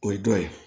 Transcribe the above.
O ye dɔ ye